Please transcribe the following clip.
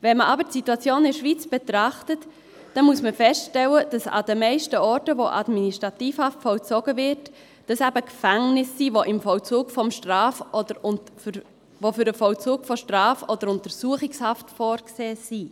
Wenn man aber die Situation in der Schweiz betrachtet, muss man feststellen, dass es an den meisten Orten, wo Administrativhaft vollzogen wird, eben Gefängnisse sind, die für den Vollzug von Straf- oder Untersuchungshaft vorgesehen sind.